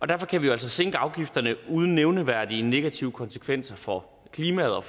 derfor kan vi jo altså sænke afgifterne uden nævneværdige negative konsekvenser for klimaet og